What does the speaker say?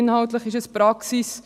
Inhaltlich ist es Praxis.